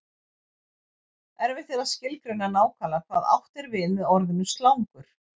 Erfitt er að skilgreina nákvæmlega hvað átt er við með orðinu slangur.